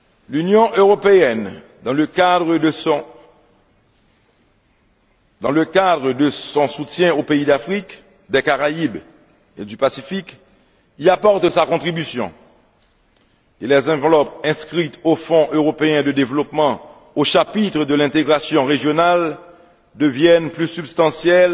L'Union européenne, dans le cadre de son soutien aux pays d'Afrique, des Caraïbes et du Pacifique, y apporte sa contribution, et les enveloppes inscrites au Fonds européen de développement au chapitre de l'intégration régionale deviennent plus substantielles